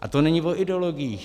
A to není o ideologiích.